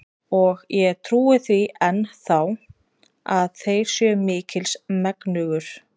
Og ég trúi því enn þá, að þér séuð mikils megnugur.